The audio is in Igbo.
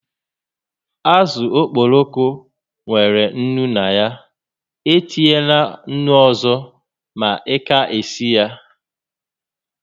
Àzụ̀ okporoko nwèrè ńnú na ya, e tinyela ńnú ọzọ ma ị ka-esi ya